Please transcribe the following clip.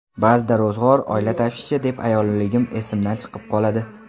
Ba’zida ro‘zg‘or, oila tashvishi deb ayolligim esimdan chiqib qoladi.